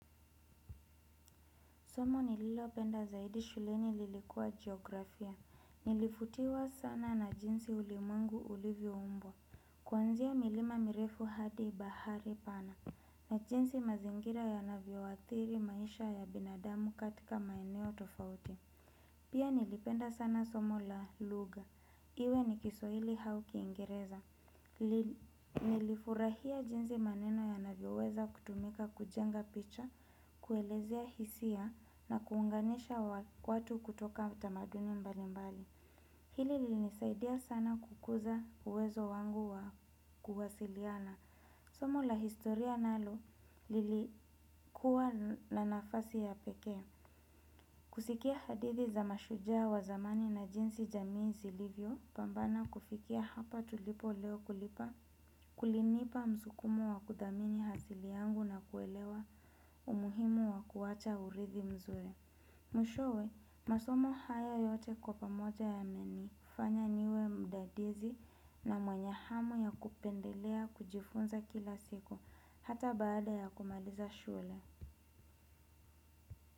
Somo nililopenda zaidi shuleni lilikuwa geografia. Nilivutiwa sana na jinsi ulimwengu ulivyo umbwa. Kuanzia milima mirefu hadi bahari pana. Na jinsi mazingira yanavyo athiri maisha ya binadamu katika maeneo tofauti. Pia nilipenda sana somo la lugha. Iwe ni kiswahili au kiingereza. Nilifurahia jinsi maneno yanavyoweza kutumika kujenga picha, kuelezea hisia na kuunganisha watu kutoka utamaduni mbali mbali. Hili lilinisaidia sana kukuza uwezo wangu wa kuwasiliana. Somu la historia nalo, lilikuwa na nafasi ya pekee. Kusikia hadithi za mashujaa wa zamani na jinsi jamii zilivyopambana kufikia hapa tulipo leo kulipa. Kulinipa msukumo wa kuthamini asili yangu na kuelewa umuhimu wa kuacha urithi mzuri. Mwishowe, masomo haya yote kwa pamoja yamenifanya niwe mdadisi na mwenye hamu ya kupendelea kujifunza kila siku. Hata baada ya kumaliza shule.